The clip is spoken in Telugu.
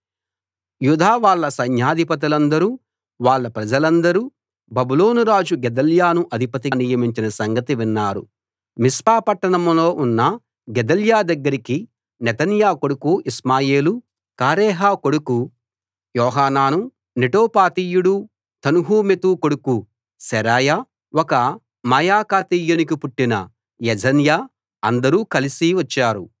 యూదావాళ్ళ సైన్యాధిపతులందరూ వాళ్ళ ప్రజలందరూ బబులోనురాజు గెదల్యాను అధిపతిగా నియమించిన సంగతి విన్నారు మిస్పా పట్టణంలో ఉన్న గెదల్యా దగ్గరికి నెతన్యా కొడుకు ఇష్మాయేలు కారేహ కొడుకు యోహానాను నెటోపాతీయుడు తన్హుమెతు కొడుకు శెరాయా ఒక మాయకాతీయునికి పుట్టిన యజన్యా అందరూ కలిసి వచ్చారు